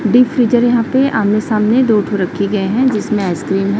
Big freezer हैं यहां पे आमने सामने दो ठो रखे गए हैं जिसमें आइसक्रीम है।